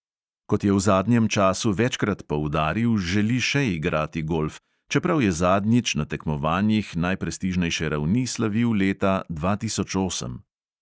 Kot je v zadnjem času večkrat poudaril, želi še igrati golf, čeprav je zadnjič na tekmovanjih najprestižnejše ravni slavil leta dva tisoč osem.